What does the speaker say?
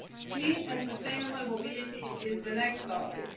Clean and sustainable mobility is the next topic.